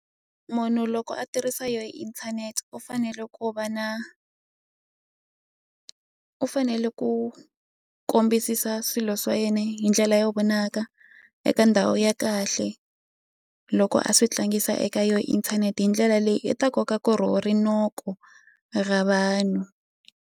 Munhu loko a tirhisa yo inthanete u fanele ku va na u fanele ku kombisisa swilo swa yena hi ndlela yo vonaka eka ndhawu ya kahle loko a swi tlangisa eka yo inthanete hindlela leyi i ta kokaku ro rinoko ra vanhu.